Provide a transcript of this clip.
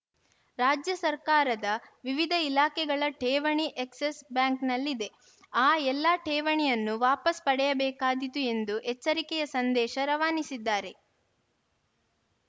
ರಾಜ್ಯ ಸರ್ಕಾರದ ವಿವಿಧ ಇಲಾಖೆಗಳ ಠೇವಣಿ ಎಕ್ಸಸ್‌ ಬ್ಯಾಂಕ್‌ನಲ್ಲಿದೆ ಆ ಎಲ್ಲಾ ಠೇವಣಿಯನ್ನು ವಾಪಾಸ್‌ ಪಡೆಯಬೇಕಾದೀತು ಎಂದು ಎಚ್ಚರಿಕೆಯ ಸಂದೇಶ ರವಾನಿಸಿದ್ದಾರೆ